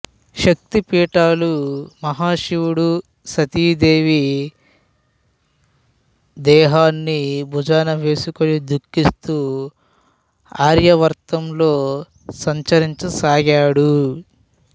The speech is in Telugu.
శక్తి పీఠాలు మహాశివుడు సతీదేవి దేహాన్ని భుజానవేసుకుని దుఃఖిస్తూ ఆర్యావర్తంలో సంచరించ సాగాడు